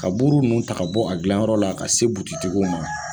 Ka buru nunnu ta ka bɔ, a dilanyɔrɔ la ka se tigiw ma.